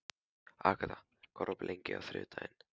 Agata, hvað er opið lengi á þriðjudaginn?